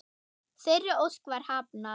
Þeirri ósk var hafnað.